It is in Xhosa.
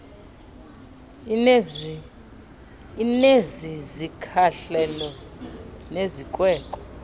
inezi zikhahlelo nezikweko